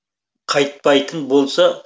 қайтпайтын болса